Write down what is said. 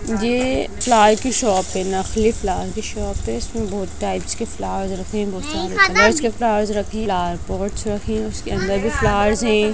ये फ्लावर की शॉप हैं नकली फ्लावर की शॉप हैं इसमें बहुत टाइप्स के फ्लावर्स रखे हैं बहुत सारे कलरस के फ्लावर्स रखे हैं फ्लावर पॉटस रखे हैं उसके अंदर भी फ्लावर्स हैं।